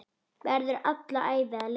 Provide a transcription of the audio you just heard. Verður alla ævi að leita.